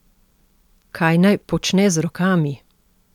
Kaj naj počne z rokami?